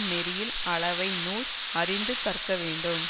நெறியில் அளவை நூல் அறிந்து கற்க வேண்டும்